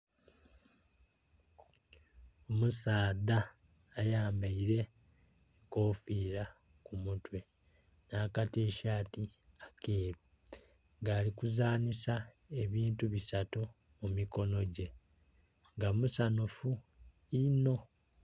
Omusaadha ayambeire enkofira ku mutwe na katisaati akeru nga ali kuzanhisa ebintu bisatu mu mikono gye nga musanhufu inho.